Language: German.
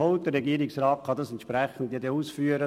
Der Regierungsrat kann das dann entsprechend ausführen.